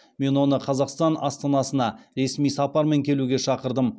мен оны қазақстан астанасына ресми сапармен келуге шақырдым